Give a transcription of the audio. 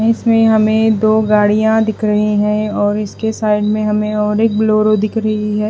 इसमें हमें दो गाड़ियां दिख रही हैं और इसके साइड में हमें और एक बोलोरो दिख रही है।